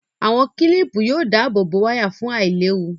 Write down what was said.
Àwọn kílìpù yóò dáàbò wáyà fún àìléwu